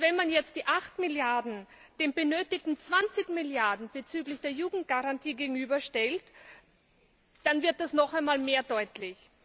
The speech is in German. Wenn man jetzt die 8 Milliarden den benötigten 20 Milliarden bezüglich der Jugendgarantie gegenüberstellt, dann wird das noch einmal mehr deutlich.